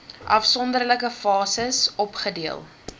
afsonderlike fases opgedeel